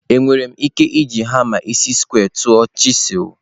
Enwere m ike iji hama isi square tụọ chisel?